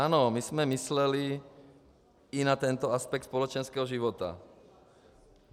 Ano, my jsme mysleli i na tento aspekt společenského života.